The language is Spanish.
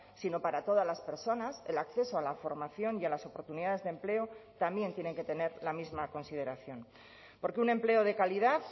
sino para todas las personas el acceso a la formación y a las oportunidades de empleo también tienen que tener la misma consideración porque un empleo de calidad